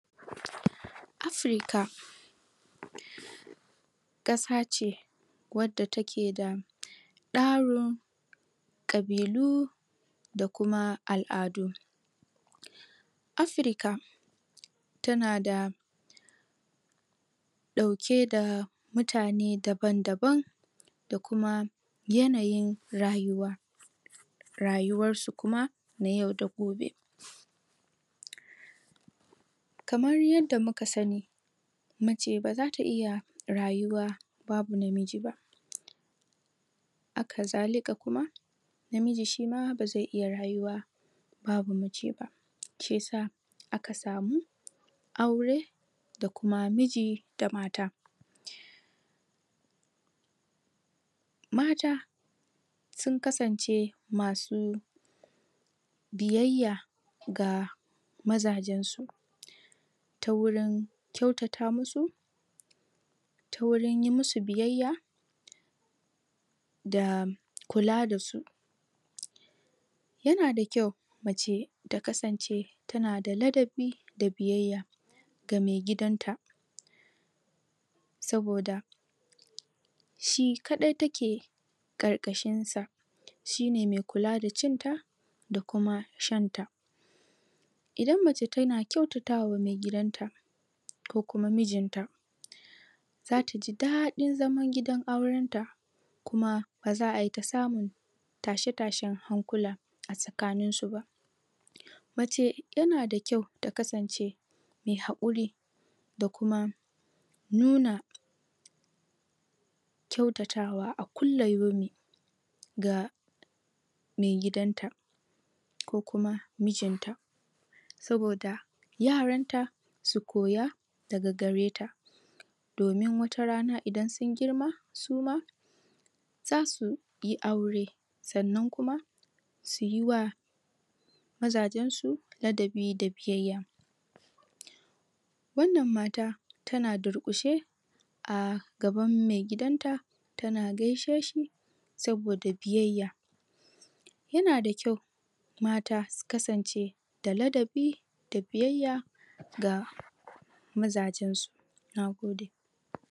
Africa kasa ce wadda ta ke da daro kabiilu da kuma al'adu Africa ta na da dauke da mutane daban daban da kuma yanayin rayuwa rayuwar su kuma na yau da gobe kamar yadda muka sani mace ba za ta iya rayuwa babu namiji ba aka zale ka kuma namiji shi ma bazai iya rayuwa babu mace ba shi ya sa aka samu aure da kuma miji da mata mata sun kasance masu biyayya ga mazajen su ta wurin kyautata musu ta wurin yi musu biyayya da kula da su ya na da kyau mace ta kasance ta na daladabi da biyayya ga mai gidan ta soboda shi kadai ta ke kar kashin sa shi ne mai kula da cin ta da kuma shan ta idan mace ta na kyautatawa maigidan ta ko kuma mijin ta za ta ji dadin zaman gidan auren ta kuma bazaa yi ta samun tashe tashehankula a sakanin su ba mace ya na da kyau ta kasance mai hakuri da kuma nuna kyautatawa a kulayomi ga maigidan ta ko kuma mijin ta soboda yaran ta su koya da gareta domin wata rana idan sun girma isu ma zasu yi aure sannan kuma su yi wa mazajen su ladabi da biyayya wannan mata ta na da rukushe a gaban maigidan ta ta na gai she shi soboda biyayya ya na da kyau mata su kasance da ladabi da biyayya ga mazajen su nagode